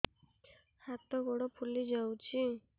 ହାତ ଗୋଡ଼ ଫୁଲି ଯାଉଛି